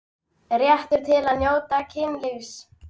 Réttur til að njóta kynlífs